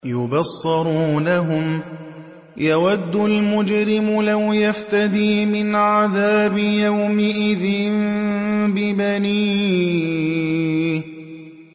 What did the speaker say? يُبَصَّرُونَهُمْ ۚ يَوَدُّ الْمُجْرِمُ لَوْ يَفْتَدِي مِنْ عَذَابِ يَوْمِئِذٍ بِبَنِيهِ